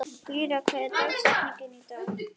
Lýra, hver er dagsetningin í dag?